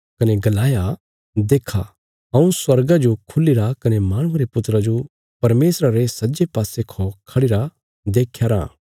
कने गलाया देक्खा हऊँ स्वर्गा जो खुलीरा कने माहणुये रे पुत्रा जो परमेशरा रे सज्जे पासे खौ खढ़िरा देख्यारा